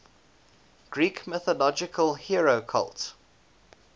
greek mythological hero cult